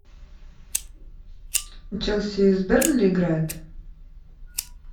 челси с бернли играет